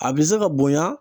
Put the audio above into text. A bɛ se ka bonya